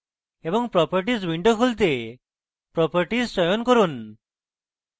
এবং properties window খুলতে properties চয়ন করুন